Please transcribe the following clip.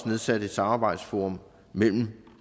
nedsat et samarbejdsforum mellem